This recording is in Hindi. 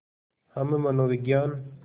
हम मनोविज्ञान